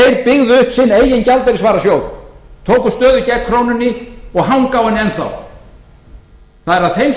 byggðu upp sinn eigin gjaldeyrisvarasjóð tóku stöðu gegn krónunni og hanga á henni enn þá